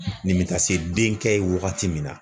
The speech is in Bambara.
Nin be taa se den kɛ ye wagati min na